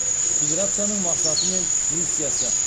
федерацияның мақсаты мен миссиясы